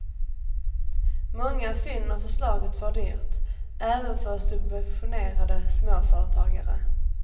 Många finner förslaget för dyrt, även för subventionerade småföretagare.